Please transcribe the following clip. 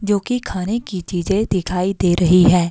जो कि खाने की चीजें दिखाई दे रही है।